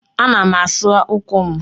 Ana m asa ụkwụ m.